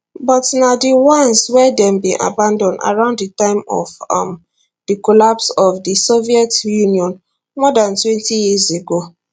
but na di ones wey dem bin abandon around di time of um di collapse of di soviet union more dantwentyyears ago